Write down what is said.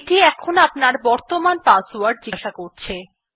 এটি আপনার বর্তমান পাসওয়ার্ড জিজ্ঞাসা করছে